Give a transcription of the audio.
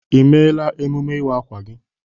I mela emume iwa akwa gị?